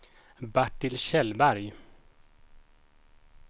Bertil Kjellberg